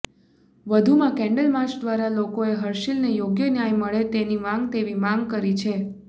વધુમાં candle march દ્વારા લોકોએ હર્ષિલને યોગ્ય ન્યાય મળે તેની માંગ તેવી માંગ કરી છે